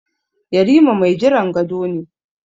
Yarima mai jiran gado ne.